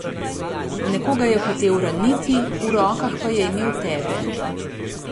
Nekoga je hotel raniti, v rokah pa je imel tebe.